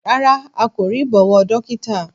Rárá a kò rí ìbọwọ́dọ́ktà